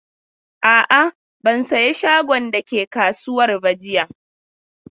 A'a, ban saye shagon da ke kasuwar ba jiya.